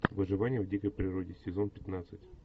выживание в дикой природе сезон пятнадцать